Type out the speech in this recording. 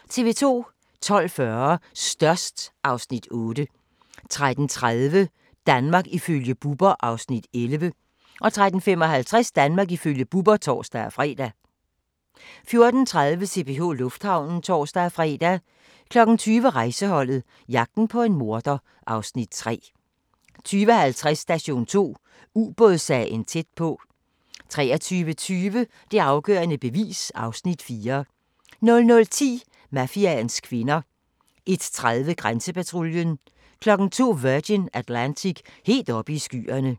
12:40: Størst (Afs. 8) 13:30: Danmark ifølge Bubber (Afs. 11) 13:55: Danmark ifølge Bubber (tor-fre) 14:30: CPH Lufthavnen (tor-fre) 20:00: Rejseholdet – jagten på en morder (Afs. 3) 20:50: Station 2: Ubådssagen tæt på 23:20: Det afgørende bevis (Afs. 4) 00:10: Mafiaens kvinder 01:30: Grænsepatruljen 02:00: Virgin Atlantic - helt oppe i skyerne